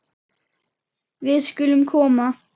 Við skulum koma